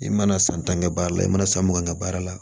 I mana san tan kɛ baara la i mana san mun kɛ n'a baara la